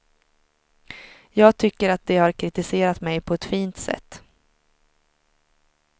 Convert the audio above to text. Jag tycker att de har kritiserat mig på ett fint sätt.